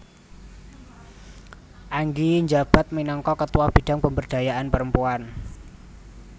Angie njabat minangka Ketua Bidang Pemberdayaan Perempuan